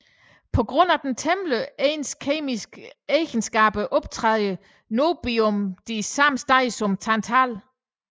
På grund af de temmelig ens kemiske egenskaber optræder niobium de samme steder som tantal